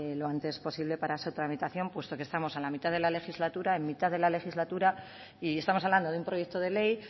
lo antes posible para su tramitación puesto que estamos en la mitad de la legislatura en mitad de la legislatura y estamos hablando de un proyecto de ley